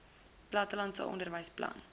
plattelandse onderwys plan